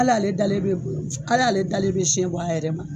Ali ale dalen bɛ bolo ali ale dalen bɛ siɲɛ bɔ a yɛrɛ ma